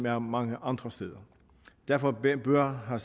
er mange andre steder derfor bør har